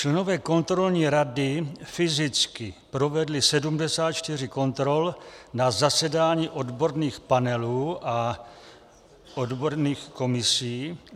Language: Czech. Členové kontrolní rady fyzicky provedli 74 kontrol na zasedání odborných panelů a odborných komisí.